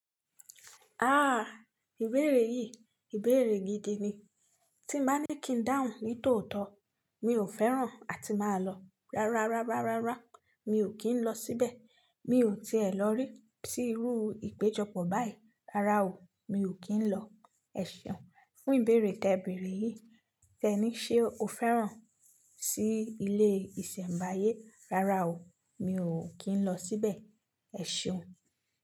Ah! Ìbéèrè yìí, ìbéèrè gidi ni. Tí mbá ní kí n dáhùn ní tòótọ́ mi ò fẹ́ràn àti máa lọ. Rárá, rárá, rárá mi ò kí ń lọ síbẹ̀. Mi ò ti è lọ rí si irú ìpéjọpọ̀ báyìí. Rárá o, mi ò kí ń lọ. Ẹ ṣeun fún ìbéèrè tẹberè yìí. Tẹ́ní, ṣe o fẹ́ràn sí ilé ìsẹ̀mbáyé? Rárá o, mi ò kí ń lọ síbẹ̀. Ẹ ṣeun.